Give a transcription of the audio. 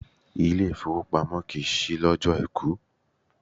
Ilé ìfowópamọ́ kìí ṣí lọ́jọ́o Àìkú.